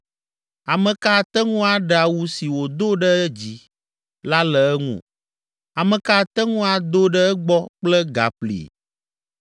Ame ka ate ŋu aɖe awu si wòdo ɖe edzi la le eŋu? Ame ka ate ŋu ado ɖe egbɔ kple gaƒli?